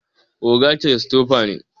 oga Christopher ne